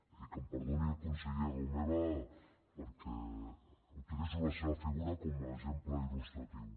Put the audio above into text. i que em perdoni el conseller romeva perquè utilitzo la seva figura com a exemple il·lustratiu